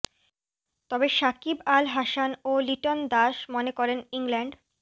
তবে সাকিব আল হাসান ও লিটন দাস মনে করেন ইংল্যান্ড